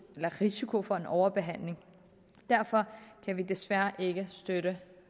risiko for en overbehandling derfor kan vi desværre ikke støtte